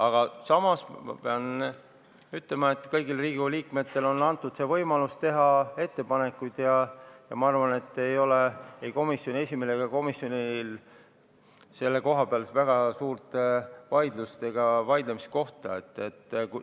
Aga samas pean ütlema, et kõigile Riigikogu liikmetele on antud võimalus teha ettepanekuid, ja ma arvan, et ei komisjoni esimehel ega komisjonil ei ole selle koha pealt väga suurt vaidlemiskohta.